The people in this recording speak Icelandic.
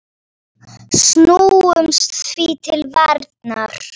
Láttu þetta vera!